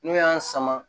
N'u y'an sama